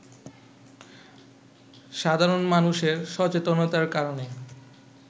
সাধারণ মানুষের সচেতনতার কারণে